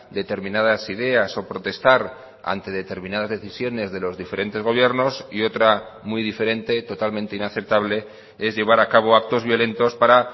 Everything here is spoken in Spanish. determinadas ideas o protestar ante determinadas decisiones de los diferentes gobiernos y otra muy diferente totalmente inaceptable es llevar a cabo actos violentos para